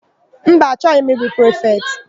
Mba, achọghị m ịbụ prifetị.